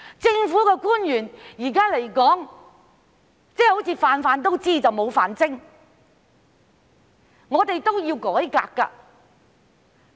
現時的政府官員好像"瓣瓣都知但無瓣精"，是需要改革的。